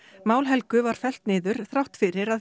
mál Helgu var fellt niður þrátt fyrir að